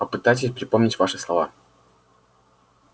попытайтесь припомнить ваши слова